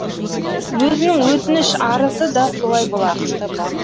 өзінің өтініш арызы да солай болатын